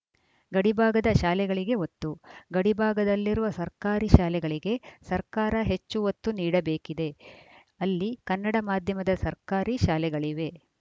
ಗಡಿಭಾಗದ ಶಾಲೆಗಳಿಗೆ ಒತ್ತು ಗಡಿಭಾಗದಲ್ಲಿರುವ ಸರ್ಕಾರಿ ಶಾಲೆಗಳಿಗೆ ಸರ್ಕಾರ ಹೆಚ್ಚು ಒತ್ತು ನೀಡಬೇಕಿದೆ ಅಲ್ಲಿ ಕನ್ನಡ ಮಾಧ್ಯಮದ ಸರ್ಕಾರಿ ಶಾಲೆಗಳಿವೆ